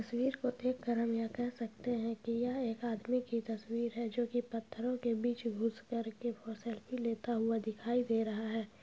इस तस्वीर को देखकर हम कह सकते हैं की यह एक आदमी की तस्वीर है जो की पत्थरों के बीच घुस कर के सेल्फी लेता हुआ दिखाई दे रहा है।